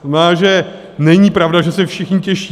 To znamená, že není pravda, že se všichni těší.